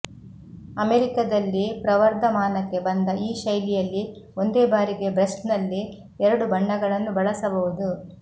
ಅಮೆರಿಕದಲ್ಲಿ ಪ್ರವರ್ಧಮಾನಕ್ಕೆ ಬಂದ ಈ ಶೈಲಿಯಲ್ಲಿ ಒಂದೇ ಬಾರಿಗೆ ಬ್ರಶ್ನಲ್ಲಿ ಎರಡು ಬಣ್ಣಗಳನ್ನು ಬಳಸಬಹುದು